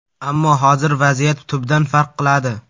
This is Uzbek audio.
Ammo hozir vaziyat tubdan farq qiladi.